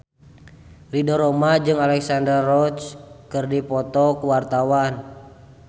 Ridho Roma jeung Alexandra Roach keur dipoto ku wartawan